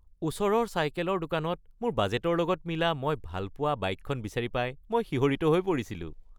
ওচৰৰ চাইকেলৰ দোকানত মোৰ বাজেটৰ লগত মিলা মই ভাল পোৱা বাইকখন বিচাৰি পাই মই শিহৰিত হৈ পৰিছিলোঁ।